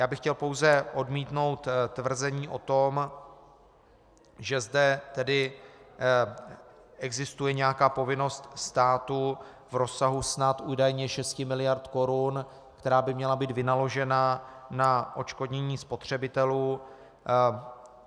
Já bych chtěl pouze odmítnout tvrzení o tom, že zde tedy existuje nějaká povinnost státu v rozsahu snad údajně 6 miliard korun, která by měla být vynaložena na odškodnění spotřebitelů.